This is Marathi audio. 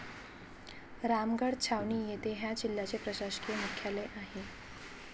रामगड छावणी येथे ह्या जिल्ह्याचे प्रशासकीय मुख्यालय आहे.